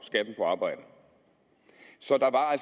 arbejde så